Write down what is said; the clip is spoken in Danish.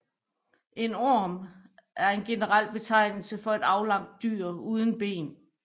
En orm er en generel betegnelse for et aflangt dyr uden ben